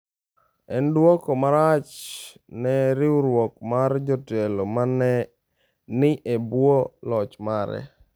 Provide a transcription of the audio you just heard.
En duoko marach ne riwruok mar jotelo ma ne ni e bwo loch mare.